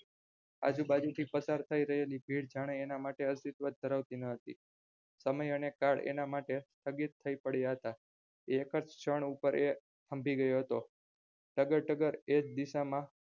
આજુબાજુથી પસાર થતી ભીડ હાને અને માટે અસ્તિત્વજ ધરાવતી ના હતી સમય અને કાળ એનામાટે સ્થગિત થઇ પડ્યા હતા એકજ સ્થળ પર એ થંભી ગયો હતો ટગર ટગર એજ દિશામાં